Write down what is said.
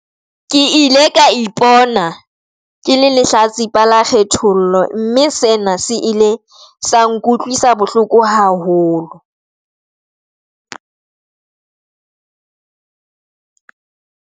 Ke ile ka ipona ke le lehlatsipa la kgethollo, mme sena se ile sa nkutlwisa bohloko haholo.